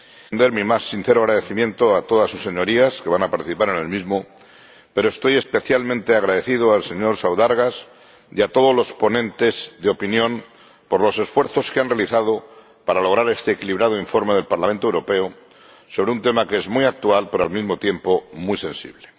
Quiero extender mi más sincero agradecimiento a todas sus Señorías que van a participar en el mismo, pero estoy especialmente agradecido al señor Saudargas y a todos los ponentes de opinión por los esfuerzos que han realizado para lograr este equilibrado informe del Parlamento Europeo sobre un tema que es muy actual, pero, al mismo tiempo, muy sensible.